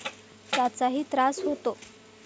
त्याचाही त्रास होतो.